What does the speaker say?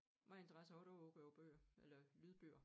Meget interesse har du udover bøger eller lydbøger?